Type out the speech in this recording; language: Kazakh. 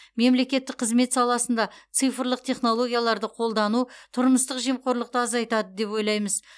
мемлекеттік қызмет саласында цифрлық технологияларды қолдану тұрмыстық жемқорлықты азайтады деп ойлаймыз